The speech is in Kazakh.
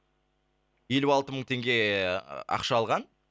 елу алты мың теңге ақша алған